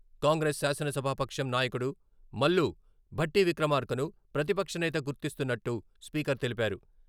కాంగ్రెస్ శాసనసభా పక్షం నాయకుడు మల్లు భట్టి విక్రమార్కను ప్రతిపక్షనేత గుర్తిస్తున్నట్టు స్పీకర్ తెలిపారు.